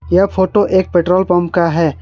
यह फोटो एक petrol pump का है।